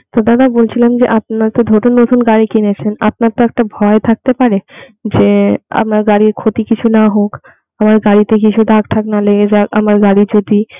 তো দাদা বলছিলাম যে আপনি তো নতুন নতুন গাড়ি কিনেছেন আপনার তো একটা ভয় থাকতে পারে যে আমার গাড়ির ক্ষতি কিছু না হোক আমার গাড়িতে কিছু দাগ টাগ না লেগে যাক আমার গাড়ি যদি